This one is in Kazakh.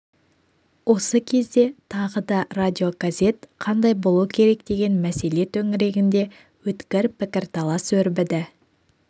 осы кезде тағы да радиогазет қандай болу керек деген мәселе төңірегінде өткір пікірталас өрбіді